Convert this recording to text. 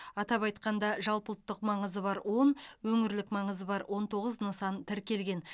атап айтқанда жалпыұлттық маңызы бар он өңірлік маңызы бар он тоғыз нысан тіркелген